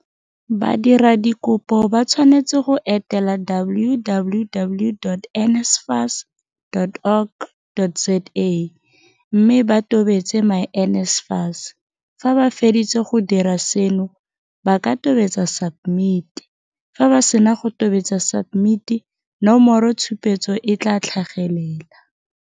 Badiradikopo ba tshwanetse go etela www.nsfas.org.za mme ba tobetse myNSFAS. Fa ba feditse go dira seno, ba ka tobetsa SUBMIT. Fa ba sena go tobetsa SUBMIT, nomoro tshupetso e tla tlhagelela.